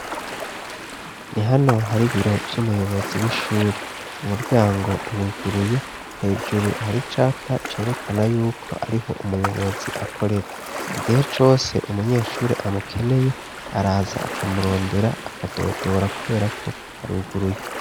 Ni hano hari biro vy'umuyobozi w'ishuri umuryango uruguruye hejuru hari capa cerekana yuko ariho umuyobozi akorera igihe cose umunyeshuri amukeneye araza akamurondera akadodora kuberako haruguruye.